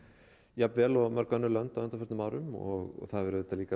jafn vel og mörg önnur lönd á undanförnum árum og það hefur auðvitað